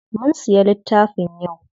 Mun siya littafin yau.